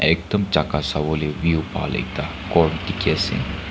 ekdum jaka sawole view bhal ekta ghor bi dikhiase.